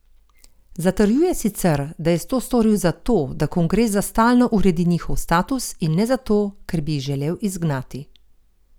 Zatrjuje sicer, da je to storil zato, da kongres za stalno uredi njihov status in ne zato, ker bi jih želel izgnati.